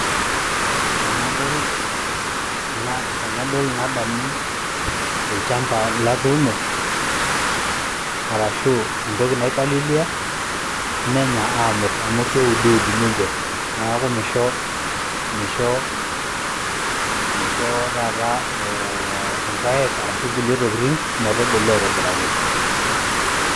Tenadol nadamu olchamba latuuno arashu entoki naipalilia menya aamut amu keudud ninje. Neeku misho misho misho taata ee irpaek arashu nkulie tokitin metubulu aitobiraki.